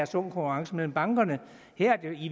sund konkurrence mellem bankerne her